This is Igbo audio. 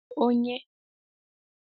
onye,